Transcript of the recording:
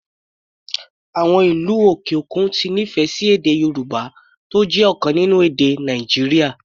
Àwọn ìlú òkè òkun ti nífẹ̀ẹ́ sí èdè Yorùbá, tó jẹ́ ọ̀kan nínú èdè Nàìjíríà.